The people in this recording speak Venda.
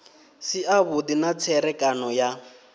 si avhudi na tserekano ya